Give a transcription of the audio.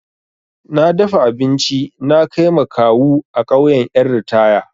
Na dafa abinci na kai ma kawu a ƙauyan ƴan ritaya.